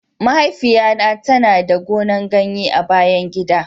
mahaifiya na ta na da gonan ganye a bayan gida.